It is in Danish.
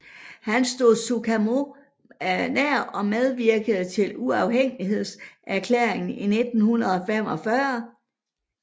Han stod Sukarno nær og medvirkede til uafhængighedserklæringen i 1945